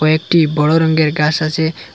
একটি বড়ো রঙ্গের গাছ আছে।